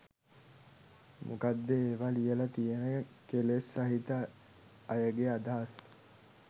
මොකද ඒවා ලියල තියෙන කෙලෙස් සහිත අයගේ අදහස්